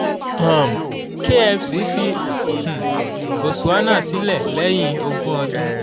um kfc fi um botswana sílẹ̀ lẹ́yìn ogún ọdún